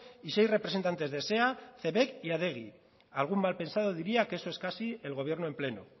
y seis representantes de sea cebek y adegi algún malpensado diría que esto es casi el gobierno en pleno